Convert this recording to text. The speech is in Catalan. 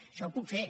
això ho puc fer